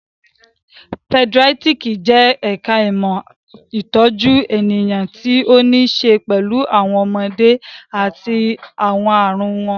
Pedíátírìkì jẹ́ ẹ̀ka ìmọ̀ ìtọ́jú ènìyàn tí ó ní ṣe pẹ̀lú àwọn ọmọdé àti àwọn ààrùn wọn